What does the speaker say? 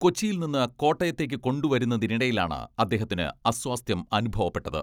കൊച്ചിയിൽ നിന്ന് കോട്ടയത്തേക്ക് കൊണ്ടു വരുന്നതിനിടയിലാണ് അദ്ദേഹത്തിന് അസ്വാസ്ഥ്യം അനുഭവപ്പെട്ടത്.